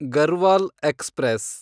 Garhwal express